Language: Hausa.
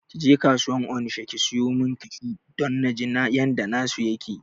Kije kasuwar onisha ki siyo min kashu don naji yanda na su yake